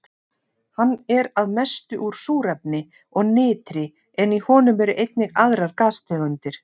Hann er að mestu úr súrefni og nitri en í honum eru einnig aðrar gastegundir.